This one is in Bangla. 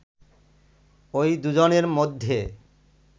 ওই দুজনের মধ্যে